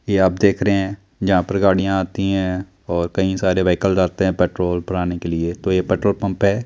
ये आप देख रहे हैं यहां पर गाड़ियां आती हैं और कई सारे व्हीकल्स आते हैं पेट्रोल भराने के लिए तो ये पेट्रोल पंप है।